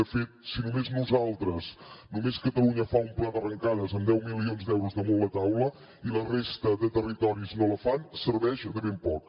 de fet si només nosaltres només catalunya fa un pla d’arrencades amb deu milions d’euros damunt la taula i la resta de territoris no la fan serveix de ben poc